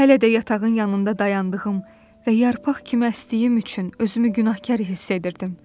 Hələ də yatağın yanında dayandığım və yarpaq kimi əsdiyim üçün özümü günahkar hiss edirdim.